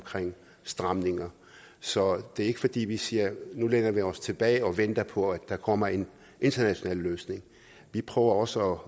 stramninger så det er ikke fordi vi siger at nu læner vi os tilbage og venter på at der kommer en international løsning vi prøver også